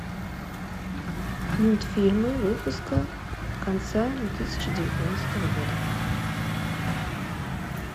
мультфильмы выпуска конца две тысячи девятнадцатого года